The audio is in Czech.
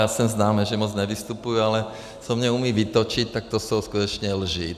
Já jsem známý, že moc nevystupuju, ale co mě umí vytočit, tak to jsou skutečně lži.